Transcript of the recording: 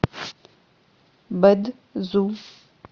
бэд зу